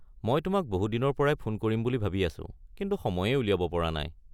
মই তোমাক বহু দিনৰ পৰাই ফোন কৰিম বুলি ভাবি আছোঁ, কিন্তু সময়েই উলিয়াব পৰা নাই।